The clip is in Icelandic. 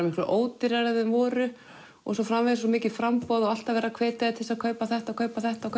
miklu ódýrari en þeir voru og svo framvegis svo mikið framboð og alltaf verið að hvetja þig til þess að kaupa þetta kaupa þetta og